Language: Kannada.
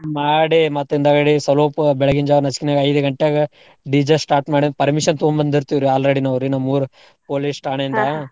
ಮಾಡಿ ಮತ್ತ್ ಹಿಂದಾಗಡಿ ಸಲ್ಪು ಬೆಳಗ್ಗಿನ್ ಜಾವ ನಸಿಕ್ನಾಗ ಐದ್ ಗಂಟೆಗ್ DJ start ಮಾಡಿಂದ್ permission ತೊಗೊಂಬಂದಿರ್ತೀವ್ರಿ already ನಾವ್ರಿ ನಮ್ಮೂರ್ police .